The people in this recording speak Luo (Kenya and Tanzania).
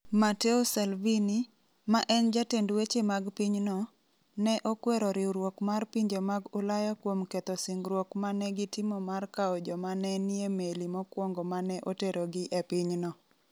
Matteo Salvini, ma en jatend weche mag pinyno, ne okwero riwruok mar pinje mag Ulaya kuom ketho singruok ma ne gitimo mar kawo joma ne nie meli mokwongo ma ne oterogi e pinyno.